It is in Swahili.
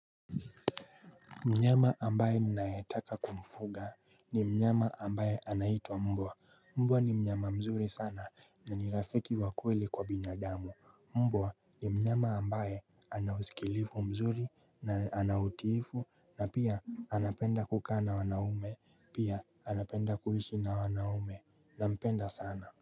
Mnyama ambaye ninayetaka kumfuga ni mnyama ambaye anaitwa mbwa. Mbwa ni mnyama mzuri sana na ni rafiki wa kweli kwa binadamu Mbwa ni mnyama ambaye anausikilivu mzuri na anautifu na pia anapenda kukaa na wanaume Pia anapenda kuishi na wanaume nampenda sana.